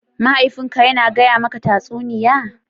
mahaifin ka Yana gaya maka tatsuniya?